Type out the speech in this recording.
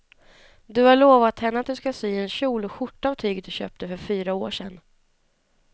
Du har lovat henne att du ska sy en kjol och skjorta av tyget du köpte för fyra år sedan.